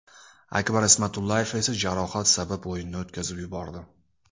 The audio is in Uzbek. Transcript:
Akbar Ismatullayev esa jarohat sabab o‘yinni o‘tkazib yubordi.